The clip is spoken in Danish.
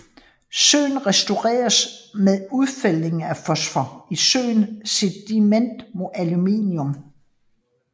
Søen restaureres med udfældning af fosfor i søens sediment med aluminium